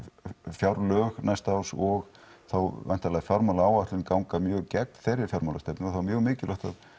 fjárlög næsta árs og þá væntanlega fjármálaáætlun ganga mjög gegn þeirri fjármálastefnu og þá er mjög mikilvægt að